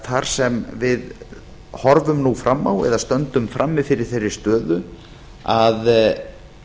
þar sem við horfum nú fram á eða stöndum frammi fyrir þeirri stöðu að